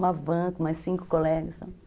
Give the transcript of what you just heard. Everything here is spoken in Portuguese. Uma van com mais cinco colegas, sabe?